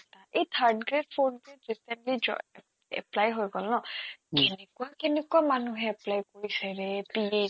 এই third grade fourth grade recently জয় apply হৈ গ'ল ন উম্ কেনেকুৱা কেনেকুৱা মানুহে apply কৰিছেৰে পি